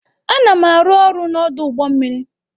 Ana m arụ ọrụ n'ọdụ ụgbọ mmiri.